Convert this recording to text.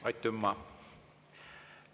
Aitümma!